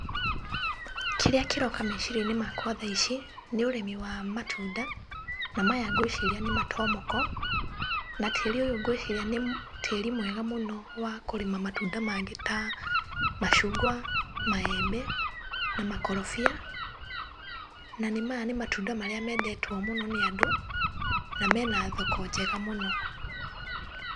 Kĩria kĩroka meciria-inĩ makwa thaa ici nĩ ũrĩmi wa matunda, nĩ maya ngwĩciria nĩ matomoko, na tĩri ũyũ ngwĩciria nĩ tĩri mwega mũno wa kũrĩma matunda mangĩ ta macungwa, maembe, na makorobia, na maya nĩ matunda marĩa mendetwo mũno nĩ andũ na mena thoko njega mũno.